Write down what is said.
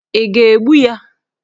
Ị ga-egbu ya?